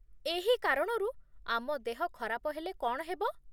ଏହି କାରଣରୁ ଆମ ଦେହ ଖରାପ ହେଲେ କ'ଣ ହେବ?